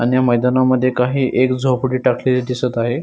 अन या मैदाना मध्ये काही एक झोपडी टाकलेली दिसत आहे.